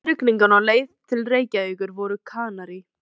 Í grenjandi rigningunni á leið til Reykjavíkur voru Kanarí